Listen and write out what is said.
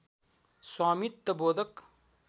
स्वामित्व बोधक